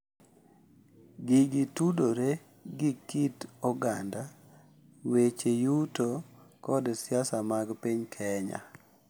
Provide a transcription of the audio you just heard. Gigi tudore gi kit oganda, weche yuto, kod siasa mag piny Kenya.